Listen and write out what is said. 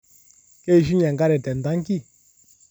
Keishunye nkare tentanki